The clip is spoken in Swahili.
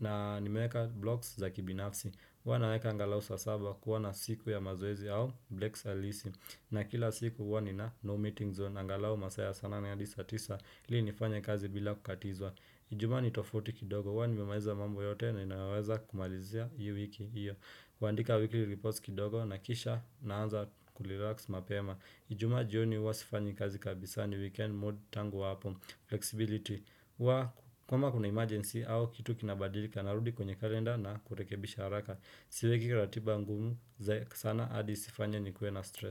na nimeweka blogs za kibinafsi huwa naweka angalau saa saba kuwa na siku ya mazoezi au blacks alisi na kila siku huwa nina no meeting zone angalau masaa ya saa nane hadi saa tisa ili nifanye kazi bila kukatizwa ijumaa ni tofauti kidogo huwa nimemaliza mambo yote ninayoweza kumalizia hii wiki hiyo kuandika weekly reports kidogo na kisha naanza kurelax mapema ijuma jioni huwa sifanyi kazi kabisa ni weekend mood tangu hapo flexibility wa kama kuna emergency au kitu kinabadilika narudi kwenye kalenda na kurekebisha haraka siweki ratiba ngumu sana hadi isifanye nikue na stress.